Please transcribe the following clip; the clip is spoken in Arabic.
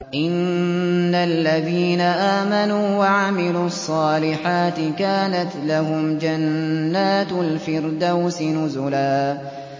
إِنَّ الَّذِينَ آمَنُوا وَعَمِلُوا الصَّالِحَاتِ كَانَتْ لَهُمْ جَنَّاتُ الْفِرْدَوْسِ نُزُلًا